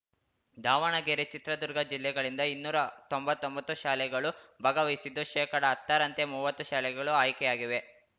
ದಾವಣಗೆರೆ ಚಿತ್ರದುರ್ಗ ಜಿಲ್ಲೆಗಳಿಂದ ಇನ್ನೂರಾ ತೊಂಬತ್ತೊಂಬತ್ತು ಶಾಲೆಗಳು ಭಾಗವಹಿಸಿದ್ದು ಶೇಕಡಹತ್ತರಂತೆ ಮುವ್ವತ್ತು ಶಾಲೆಗಳು ಆಯ್ಕೆಯಾಗಿವೆ